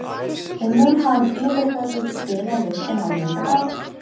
Eða mun hann yfirhöfuð spila leikinn á laugardag?